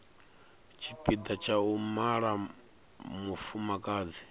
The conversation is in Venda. tshipiḓa tsha u mala mufumakadzi